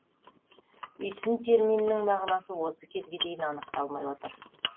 үйсін терминінің мағынасы осы кезге дейін анықталмай отыр